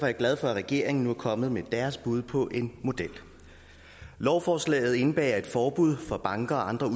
jeg glad for at regeringen nu er kommet med deres bud på en model lovforslaget indebærer et forbud for banker og andre